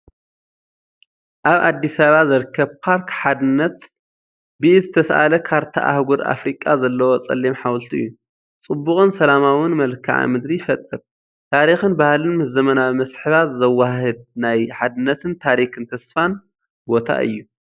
ኣብ ኣዲስ ኣበባ ዝርከብ ፓርክ ሓድነት ብኢድ ዝተሳእለ ካርታ ኣህጉር ኣፍሪቃ ዘለዎ ጸሊም ሓወልቲ እዩ። ጽቡቕን ሰላማውን መልክዓ ምድሪ ይፈጥር። ታሪኽን ባህልን ምስ ዘመናዊ መስሕባት ዘወሃህድ ናይ ሓድነትን ታሪኽን ተስፋን ቦታ እዩ።